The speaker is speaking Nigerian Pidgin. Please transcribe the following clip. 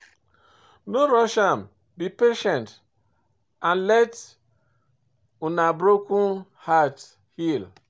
No rush am, be patient and let una broken heart heal.